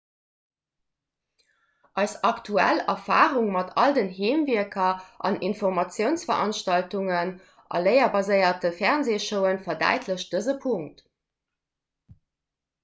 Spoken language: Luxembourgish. eis aktuell erfarung mat all den heemwierker an informatiounsveranstaltungen a léierbaséierte fernseeshowen verdäitlecht dëse punkt